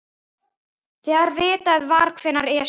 Þegar vitað var hvenær Esjan